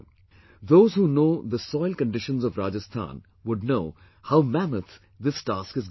Those who know the soil conditions of Rajasthan would know how mammoth this task is going to be